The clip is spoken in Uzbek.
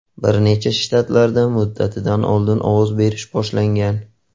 Bir nechta shtatlarda muddatidan oldin ovoz berish boshlangan.